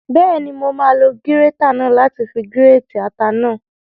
Bẹ́ẹ̀ni, mo máa lo gírétà náà láti fi gírètì ata náà